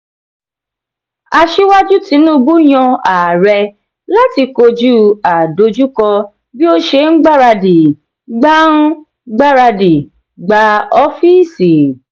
asíwájú tinubu yan ààrẹ láti kojú àdojúko bí o ṣe n gbaradi gbà n gbaradi gbà oofiisi.